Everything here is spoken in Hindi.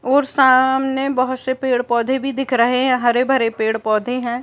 और सामने बहुत से पेड़- पौधे भी दिख रहे है हरे -भरे पेड़ -पौधे हैं।